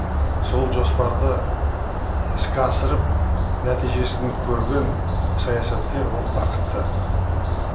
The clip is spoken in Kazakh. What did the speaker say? сол жоспарды іске асырып нәтижесін көрген саясаткер ол бақытты